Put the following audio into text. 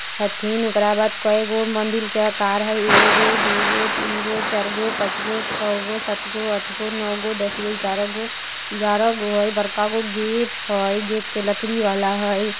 हथीन ओकरा बाद कए गो मंदिर के आकार हय एगो दु गो तीन गो चार गो पांच गो छ गो सात गो आठ गो नो गो दस गो ग्यारह गो ग्यारह गो हय बड़का गो गेट हय गेट पर लकड़ी वाला हय।